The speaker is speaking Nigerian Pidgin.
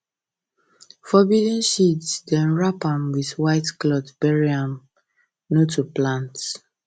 forbidden seeds dem wrap am with white cloth bury am no to plant